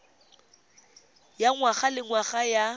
ya ngwaga le ngwaga ya